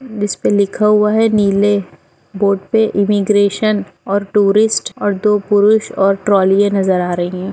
जिस पे लिखा हुआ है नीले बोर्ड पे इमीग्रेशन और टूरिस्ट और दो पुरुष और ट्रॉलिये नजर आ रही हैं।